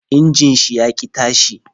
Injin shi ya ki tashi